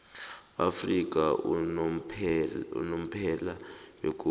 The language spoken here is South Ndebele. afrika unomphela begodu